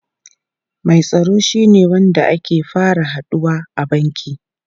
Mai tsaro shine wanda ake fara haduwa a banki.